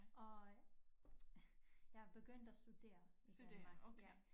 Øh jeg er begyndt at studere i Danmark